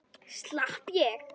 Slepp ég?